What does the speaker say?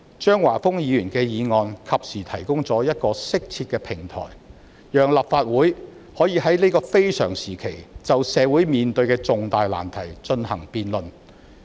張華峰議員的議案及時提供了一個適切的平台，讓立法會可以在這個非常時期就社會面對的重大難題進行辯論。